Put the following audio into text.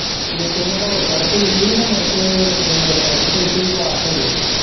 ਨਿੱਕੇ ਨੇ ਦੌੜ ਕੱਢਤੀ ਹੀ ਤੇ ਮੁੜਕੇ ਇਹ test ਤੁਸਟ ਵੀ pass ਹੋਗਏ ਸੀ।